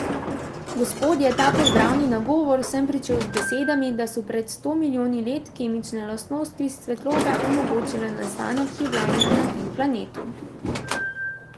Gospodje, ta pozdravni nagovor sem pričel z besedami, da so pred sto milijoni let kemične lastnosti svetlobe omogočile nastanek življenja na tem planetu.